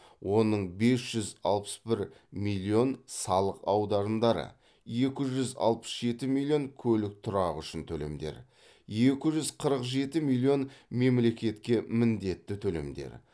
оның бес жүз алпыс бір миллион салық аударымдары екі жүз алпыс жеті миллион көлік тұрағы үшін төлемдер екі жүз қырық жеті миллион мемлекетке міндетті төлемдер